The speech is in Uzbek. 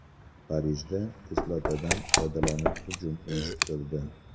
Parijda kislotadan foydalanib hujum uyushtirildi.